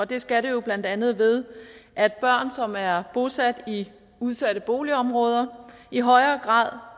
det skal det jo blandt andet ved at børn som er bosat i udsatte boligområder i højere grad